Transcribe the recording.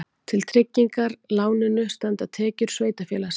Til tryggingar láninu standa tekjur sveitarfélagsins